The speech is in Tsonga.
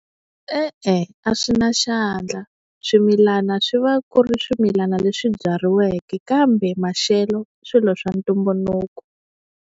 E-e, a swi na xandla swimilana swi va ku ri swimilana leswi byariweke kambe maxelo i swilo swa ntumbuluko.